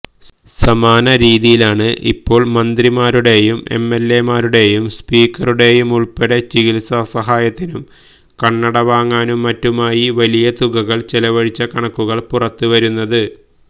സമാന രീതിയിലാണ് ഇപ്പോൾ മന്ത്രിമാരുടേയും എംഎൽഎമാരുടേയും സ്പീക്കറുടേയുമുൾപ്പെടെ ചികിത്സാ സഹായത്തിനും കണ്ണടവാങ്ങാനും മറ്റുമായി വലിയ തുകകൾ ചെലവഴിച്ച കണക്കുകളും പുറത്തുവരുന്നത്